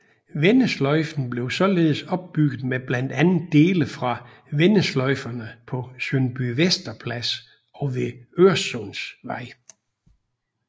Vendesløjfen blev således opbygget med blandt andet dele fra vendesløjferne på Sundbyvester Plads og ved Øresundsvej